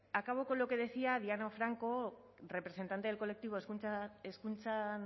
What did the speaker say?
acabo con lo que decía diana franco representante del colectivo hezkuntzan